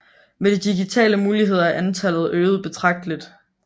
Med de digitale muligheder er antallet øget betragteligt